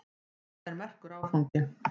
Þetta er merkur áfangi.